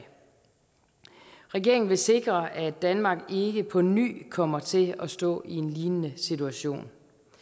regeringen vil sikre at danmark ikke på ny kommer til at stå i en lignende situation